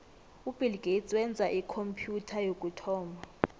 ubill gates wenza ikhompyutha yokuthoma